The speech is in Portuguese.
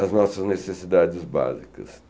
as nossas necessidades básicas.